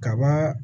Kaba